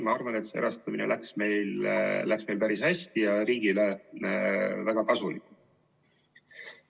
Ma arvan, et erastamine läks meil päris hästi ja on riigile väga kasulik.